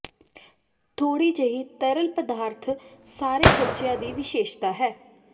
ਥੋੜ੍ਹੀ ਜਿਹੀ ਤਰਲ ਪਦਾਰਥ ਸਾਰੇ ਬੱਚਿਆਂ ਦੀ ਵਿਸ਼ੇਸ਼ਤਾ ਹੈ